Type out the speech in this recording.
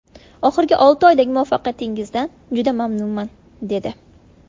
Oxirgi olti oydagi muvaffaqiyatingizdan juda mamnunman”, dedi.